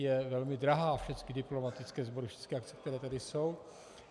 Je velmi drahá - všechny diplomatické sbory, všechny akce, které tady jsou.